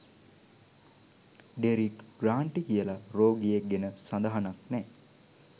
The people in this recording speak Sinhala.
ඩෙරික් ග්‍රාන්ටි කියලා රෝගියෙක් ගැන සදහනක් නෑ.